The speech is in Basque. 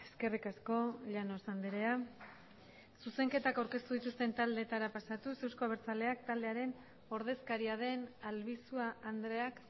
eskerrik asko llanos andrea zuzenketak aurkeztu dituzten taldeetara pasatuz euzko abertzaleak taldearen ordezkaria den albizua andreak